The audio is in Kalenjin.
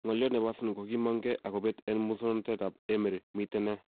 Ng'olyot nebo Arsenal kokiimong gee ak kobet en muswoknotetab Emery, miten nee?